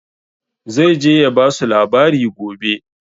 Zai je ya basu labari gobe